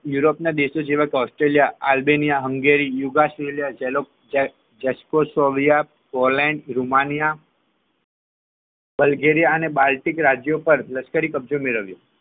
યુરોપના દેશો જેવા કે ઓસ્ટ્રેલિયા આલ્બેનિયા હેરિયા યુગ ઓસ્ટ્રેલિયા જેટઓબેરિયા પોલેન્ડ અને રુમાનિયા બલ્ગેરિયા અને બાલકિક રાજ્યો પર લશ્કરી કબજો મેળવ્યો